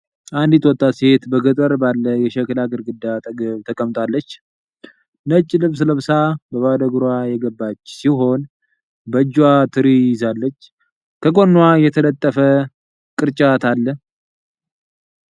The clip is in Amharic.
አንዲት ወጣት ሴት በገጠር ባለ የሸክላ ግድግዳ አጠገብ ተቀምጣለች። ነጭ ልብስ ለብሳ በባዶ እግሯ የገባች ሲሆን፣ በእጇ ትሪ ትይዛለች። ከጎኗ የተጠለፈ ቅርጫት አለ።